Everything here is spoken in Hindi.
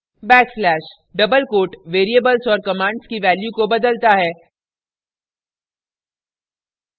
backslash backslash * double quote variables और commands की value को बदलता है